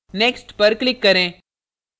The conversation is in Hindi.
next पर click करें